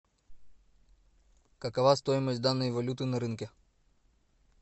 какова стоимость данной валюты на рынке